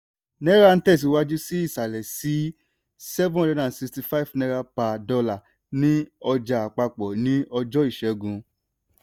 náírà tẹ̀síwájú sí ìsàlẹ̀ sí n765/$1 ní ọjà àpapọ̀ ní ọjọ́ ìṣẹ́gun.